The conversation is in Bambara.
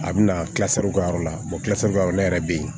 A bɛna yɔrɔ la ne yɛrɛ bɛ yen